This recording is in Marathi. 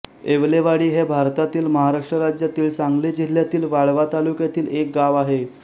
येवलेवाडी हे भारतातील महाराष्ट्र राज्यातील सांगली जिल्ह्यातील वाळवा तालुक्यातील एक गाव आहे